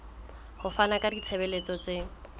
ho fana ka ditshebeletso tse